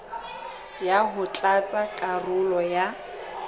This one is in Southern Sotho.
ho ya tlatsa karolo ya